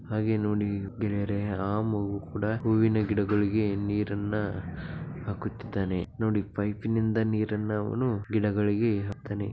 ಹಾಗೆ ನೋಡಿ ಗೆಳೆಯರೇ ಆ ಮಗು ಕೂಡ ಹೂವಿನ ಗಿಡಗಳಿಗೆ ನೀರನ್ನ ಹಾಕುತ್ತಿದಾನೆ ನೋಡಿ ಪೈಪ್ನಿಂದ ನೀರನ್ನು ಅವನು ಗಿಡಗಳಿಗೆ ಹಾಕ್ತಾನೆ.